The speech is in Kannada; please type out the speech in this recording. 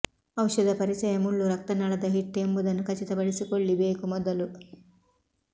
ಔಷಧ ಪರಿಚಯ ಮುಳ್ಳು ರಕ್ತನಾಳದ ಹಿಟ್ ಎಂಬುದನ್ನು ಖಚಿತಪಡಿಸಿಕೊಳ್ಳಿ ಬೇಕು ಮೊದಲು